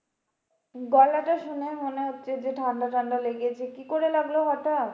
গলাটা শুনেই মনে হচ্ছে যে ঠান্ডা ঠান্ডা লেগেছে, কি করে লাগলো হটাৎ?